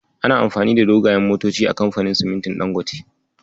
Ana amfani da dogayen motoci a kamfanin simintin Dangote.